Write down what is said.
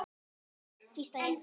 Uss, hvísla ég.